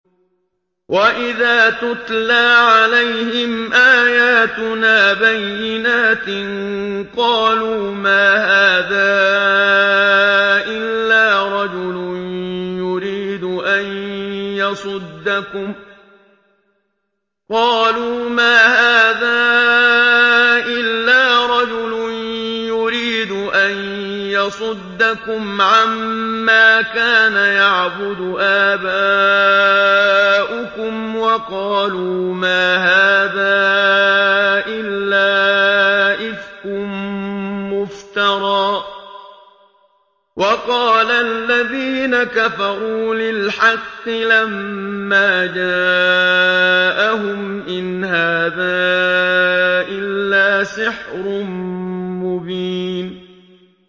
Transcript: وَإِذَا تُتْلَىٰ عَلَيْهِمْ آيَاتُنَا بَيِّنَاتٍ قَالُوا مَا هَٰذَا إِلَّا رَجُلٌ يُرِيدُ أَن يَصُدَّكُمْ عَمَّا كَانَ يَعْبُدُ آبَاؤُكُمْ وَقَالُوا مَا هَٰذَا إِلَّا إِفْكٌ مُّفْتَرًى ۚ وَقَالَ الَّذِينَ كَفَرُوا لِلْحَقِّ لَمَّا جَاءَهُمْ إِنْ هَٰذَا إِلَّا سِحْرٌ مُّبِينٌ